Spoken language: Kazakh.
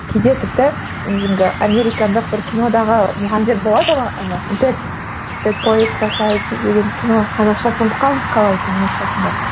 кейде тіпті американдық бір кинодағы мұғалімдер болады ғой ы деген кино қазақшасын ұмытып қалдым қалай екенін орысшасын да